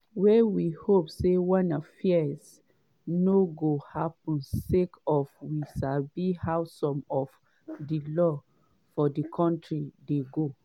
wey we hope say wanna fears no go happun sake of we sabi how some of di laws for di kontri dey go.”